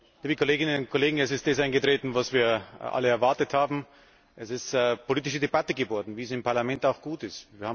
Herr Präsident, liebe Kolleginnen und Kollegen! Es ist das eingetreten, was wir alle erwartet haben Es ist eine politische Debatte geworden, wie es im Parlament auch gut ist.